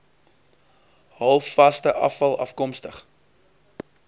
halfvaste afval afkomstig